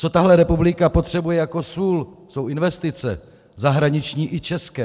Co tahle republika potřebuje jako sůl, jsou investice - zahraniční i české.